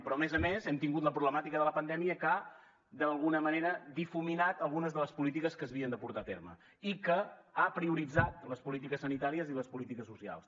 però a més a més hem tingut la problemàtica de la pandèmia que d’alguna manera ha difuminat algunes de les polítiques que s’havien de portar a terme i que ha prioritzat les polítiques sanitàries i les polítiques socials